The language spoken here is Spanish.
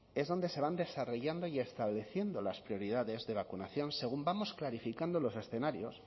es donde se van desarrollando y estableciendo las prioridades de vacunación según vamos clarificando los escenarios